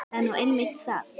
Það er nú einmitt það!